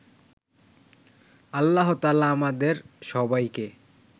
আল্লাহতায়ালা আমাদের সবাইকে